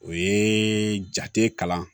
O ye jate kalan